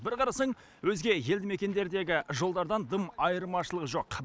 бір қарасаң өзге елді мекендердегі жолдардан дым айырмашылығы жоқ